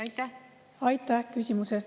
Aitäh küsimuse eest!